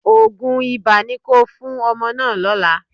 Òògùn ibà ni kí o fún ọmọ náà lọ́la.